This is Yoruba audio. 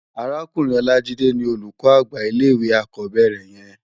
Árákúrin Olajide ni ólúkò ágbá ilé iwé ákòbèrè yèn